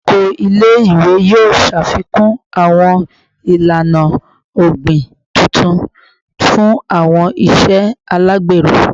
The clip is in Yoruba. Oko ile-iwe yoo ṣafikun awọn ilana ogbin tuntun fun awọn iṣe alagbero